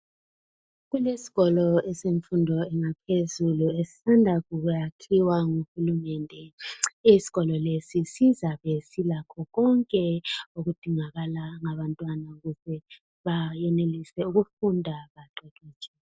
Kuesikolo esemfundo yaphezulu esisanda kuyakhiwa nguhulumende. Isikolo lesi sizabe silakho konke okudingakala ngabantwana ukuze bayenelise ukufunda baqeqetshe.